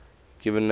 given names